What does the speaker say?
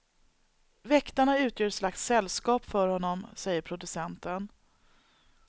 Väktarna utgör ett slags sällskap för honom, säger producenten.